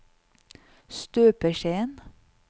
støpeskjeen